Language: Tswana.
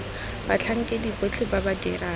batlhankedi botlhe ba ba dirang